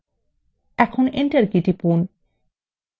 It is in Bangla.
এখন enter key টিপুন